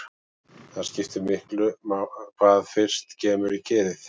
Það skiptir miklu hvað fyrst kemur í kerið.